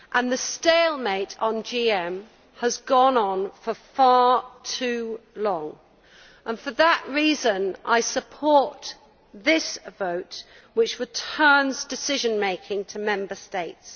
The stalemate on GM has gone on for far too long, and for that reason I support this vote, which returns decision making to Member States.